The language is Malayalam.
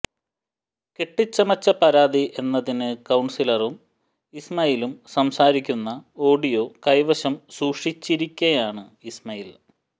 കെട്ടിച്ചമച്ച പരാതി എന്നതിന് കൌൺസിലറും ഇസ്മയിലും സംസാരിക്കുന്ന ഓഡിയോ കൈവശം സൂക്ഷിച്ചിരിക്കയാണ് ഇസ്മയിൽ